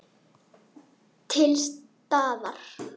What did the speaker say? Til staðar.